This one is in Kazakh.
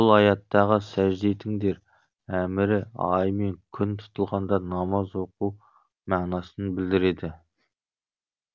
бұл аяттағы сәжде етіңдер әмірі ай мен күн тұтылғанда намаз оқу мағынасын білдіреді